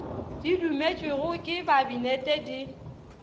di dumetšwego ke kabinete di